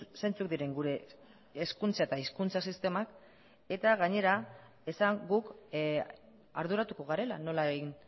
zeintzuk diren gure hezkuntza eta hizkuntza sistemak eta gainera esan guk arduratuko garela nola egin